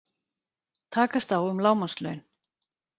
Takast á um lágmarkslaun